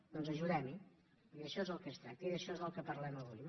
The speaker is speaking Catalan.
doncs ajudem·hi i d’això és del que es tracta i d’això és del que parlem avui